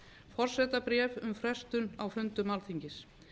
forsetabréf íslands um frestun á fundum alþingis